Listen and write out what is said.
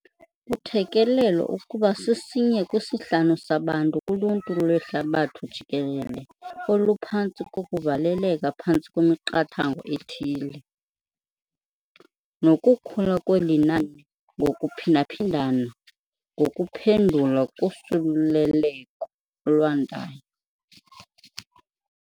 Kuthelekelelwa ukuba sisinye kwisihlanu sabantu kuluntu lwehlabathi jikelele oluphantsi kokuvaleleka phantsi kwemiqathango ethile, nokukhula kweli nani ngokuphinda-phindana ngokuphendula kusuleleko olwandayo.